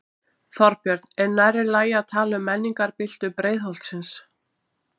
Þorbjörn: Er nærri lagi að tala um menningarbyltingu Breiðholtsins?